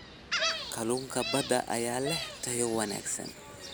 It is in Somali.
Kalluunka badda ayaa leh tayo wanaagsan.